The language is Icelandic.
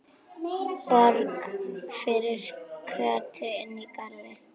Borg fyrir Kötu inní garði.